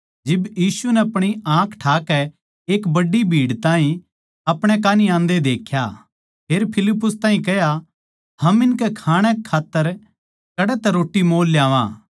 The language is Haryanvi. जिब यीशु नै अपणी आँख ठाकै एक बड्डी भीड़ ताहीं अपणे कान्ही आन्दे देख्या फेर फिलिप्पुस ताहीं कह्या हम इनकै खाणै कै खात्तर कड़ै तै रोट्टी मोल ल्यावां